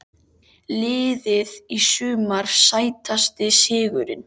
Liðið í sumar Sætasti sigurinn?